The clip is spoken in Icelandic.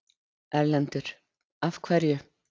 Erlendur: Af hverju?